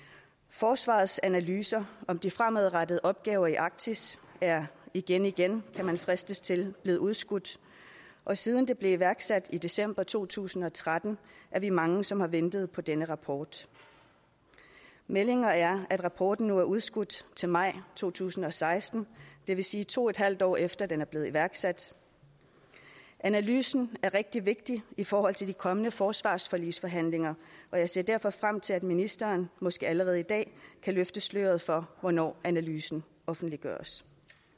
forsvarets analyser af de fremadrettede opgaver i arktis er igen igen kan man fristes til at blevet udskudt og siden de blev iværksat i december to tusind og tretten er vi mange som har ventet på denne rapport meldingen er at rapporten nu er udskudt til maj to tusind og seksten og det vil sige to en halv år efter at den er blevet iværksat analysen er rigtig vigtig i forhold til de kommende forsvarsforligsforhandlinger og jeg ser derfor frem til at ministeren måske allerede i dag kan løfte sløret for hvornår analysen offentliggøres